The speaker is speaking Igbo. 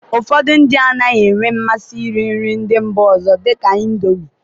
ụfọdụ ndị anaghị enwe mmasị iri nri ndị mba ọzọ dịka Indomi